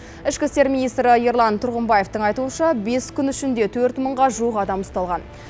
ішкі істер министрі ерлан тұрғымбаевтың айтуынша бес күн ішінде төрт мыңға жуық адам ұсталған